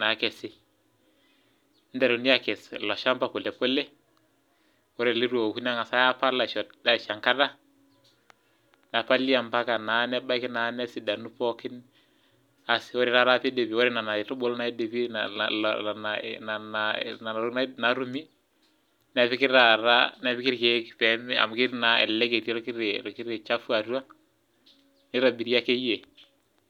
naakesi , neiteruni akes ilo shampa polepole, ore leitu eku nengasi aapal aisho enkata nepali ompaka nebaiki naa nesidanu pookin ,ore nena tokiting naatumi nepikita irkeek amu elelek etii orkiti shafu atua ,neirobiri akeyie .